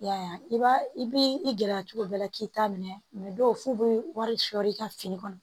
I y'a ye i b'a i b'i i gɛrɛ cogo bɛɛ la k'i ta minɛ dɔw f'u bɛ wari sɔr'i ka fini kɔnɔ